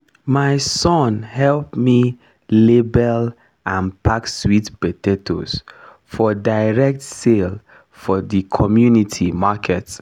my son help me label and pack sweet potatoes for direct sale for the community market